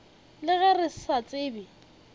le ge re sa tsebe